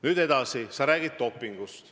Nüüd edasi, sa räägid dopingust.